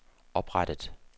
oprettet